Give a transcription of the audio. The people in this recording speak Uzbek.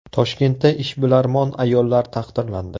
Toshkentda ishbilarmon ayollar taqdirlandi.